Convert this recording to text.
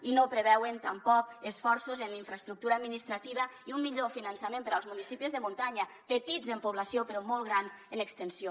i no preveuen tampoc esforços en infraestructura administrativa i un millor finançament per als municipis de muntanya petits en població però molt grans en extensió